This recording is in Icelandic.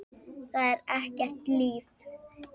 Það er ekkert líf.